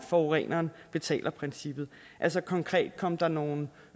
forureneren betaler princippet altså konkret kom der nogle